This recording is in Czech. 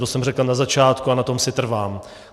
To jsem řekl na začátku a na tom si trvám.